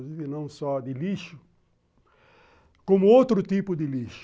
não só de lixo, como outro tipo de lixo.